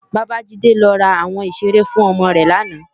Babajide lò rá áwòn iṣéré fún òmò rè làná